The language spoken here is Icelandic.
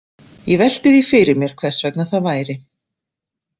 Ég velti því fyrir mér hvers vegna það væri.